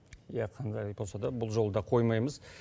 иә қандай болса да бұл жолы да қоймаймыз